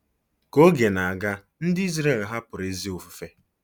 Ka oge na-aga, ndị Izrel hapụrụ ezi ofufe.